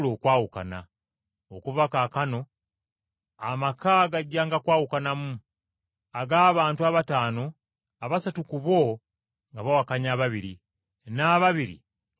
Okuva kaakano amaka gajjanga kwawukanamu, ag’abantu abataano, abasatu ku bo nga bawakanya ababiri, n’ababiri nga bawakanya abasatu.